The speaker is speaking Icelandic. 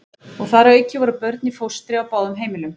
Og þar að auki voru börn í fóstri á báðum heimilunum.